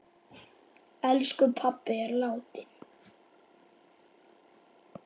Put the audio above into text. Elsku pabbi er látinn.